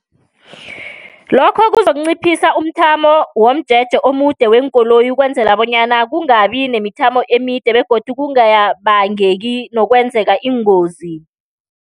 Lokho kuzokunciphisa umthamo womjeje omude weenkoloyi ukwenzela bonyana kungabi nemithamo emide, begodu kungabangeki nokwenzeka iingozi.